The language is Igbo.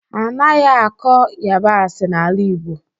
A naghị akọ ịyabasị n'ala Igbo.